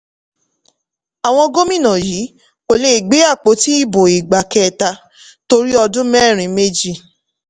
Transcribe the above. àwọn gómìnà yìí kò lè gbe àpótí ibo ìgbà kẹta torí ọdún mẹ́rin méjì.